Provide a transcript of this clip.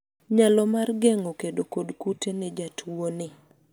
nyalo mar geng'o kedo kod kute ne jatuo ni